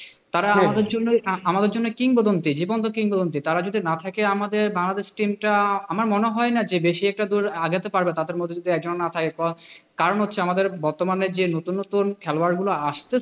তারা আমাদের জন্যই আ আমাদের জন্যই কিংবদন্তি। জীবন্ত কিংবদন্তি তারা যদি না থাকে আমাদের বাংলাদেশ team টা যে বেশি একটা দূর আগাতে পারবে তাদের মধ্যে একজনের যদি না থাকে, কারণ হচ্ছে আমাদের বর্তমানে যে নতুন নতুন খেলোয়াড় গুলো আসতেছে,